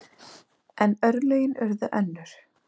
En örlögin urðu önnur.